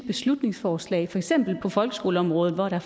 beslutningsforslag for eksempel på folkeskoleområdet hvor der